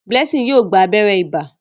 Blessing yóò gbà abéré ibà.